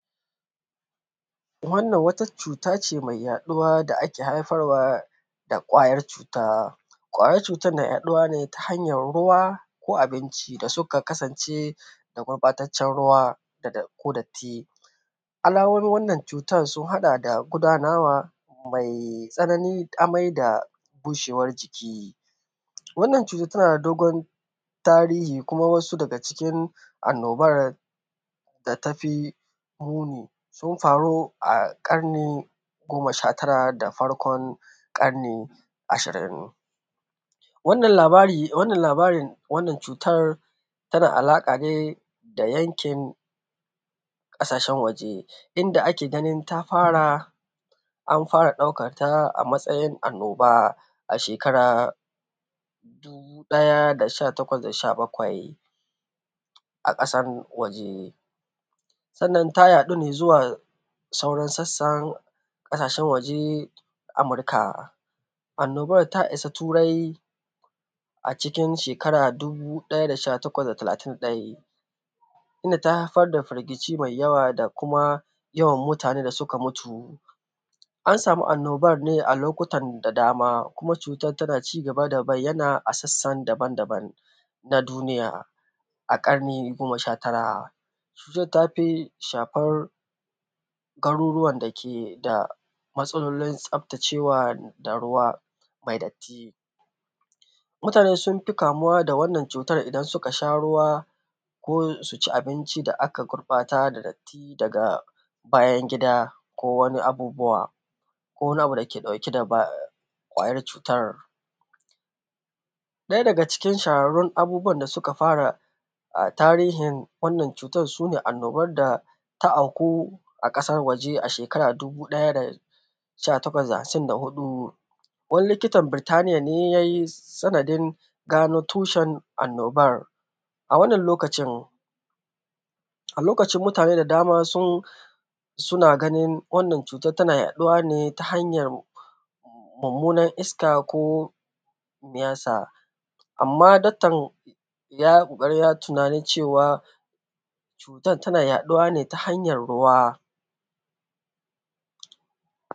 Wannan wata cuta ce mai yaɗuwa da ake haifarwa da ƙwayar cuta. Ƙwayar cutar na yaɗuwa ne ta hanyar ruwa, ko abinci da suka kasance da gurɓataccen ruwa, ko datti. Alamomin wannan cutar sun haɗa da gudanawa mai tsanani, amai da bushewar jiki. Wannan cutar tana da dogon tarihi kuma wasu daga cikin annobar da tafi muni, sun faru a ƙarni goma sha tara da farkon ƙarni ashirin. Wannan labara, wannan labarin, wannan cutar, tana alaƙa ne da yankin, ƙasashen waje, inda ake ganin ta fara, an fara ɗaukar ta a matsayin annoba a shekarar dubu ɗaya da sha takwas da sha bakwai, a ƙasar waje. Sannan ta yaɗu ne zuwa sauran sassan, ƙasashen waje, a Amurka. Annobar ta isa Turai, a cikin shekara dubu ɗaya da sha takwas da talatin ɗai, inda ta haifar da firgici mai yawa da kuma yawan mutane da suka mutu. An samu annobar ne a lokutan da dama, kuma cutar tana cigaba da bayyana a sassan daban-daban, na duniya, a ƙarni goma sha tara. Cutar ta fi shafar garuruwan da ke da matsalolin tsaftacewa da ruwa, mai datti. Mutane sun fi kamuwa da wannan cutar idan suka sha ruwa, ko su ci abinci da aka gurɓata da datti daga bayan gida, ko wani abubuwa, ko wani abu da ke dauke da baya.. ƙwayar cutar. Ɗaya daga cikin shahararrun abubuwan da suka fara a tarihin wannan cutar su ne annobar da ta auku a ƙasar waje a shekara dubu ɗaya da sha takwas da ashirin da huɗu. Wani likitan Birtaniya ne ya yi sanadin gano tushen annobar a wannan lokacin, a lokacin mutane da dama suna ganin wannan cutar tana yaɗuwa ne ta hanyar mummunar iska, ko miyasa. Amma daktan ya yi ƙoƙari ya yi tunanin cewa, cutar tana yaɗuwa ne ta hanyar ruwa.